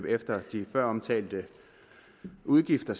efter de før omtalte udgifter